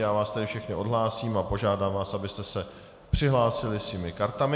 Já vás tedy všechny odhlásím a požádám vás, abyste se přihlásili svými kartami.